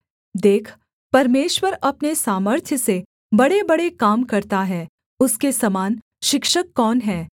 देख परमेश्वर अपने सामर्थ्य से बड़ेबड़े काम करता है उसके समान शिक्षक कौन है